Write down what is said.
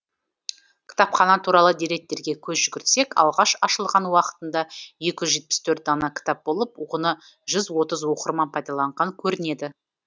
кітапхана туралы деректерге көз жүгіртсек алғаш ашылған уақытында екі жүз жетпіс төрт дана кітап болып оны жүз отыз оқырман пайдаланған көрінеді